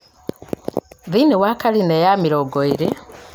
thĩinĩ wa karine ya mĩrongo ĩĩrĩ